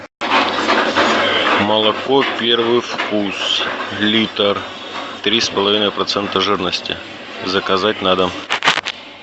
молоко первый вкус литр три с половиной процента жирности заказать на дом